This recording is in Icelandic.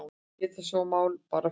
Geta svona mál bara fyrnst?